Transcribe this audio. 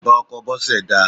Bàbá ọkọ Bose dà?